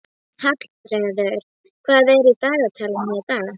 Helgi rígheldur í draumana þegar ég hnippi í hann.